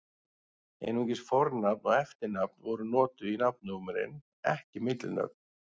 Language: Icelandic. Einungis fornafn og eftirnafn voru notuð í nafnnúmerin, ekki millinöfn.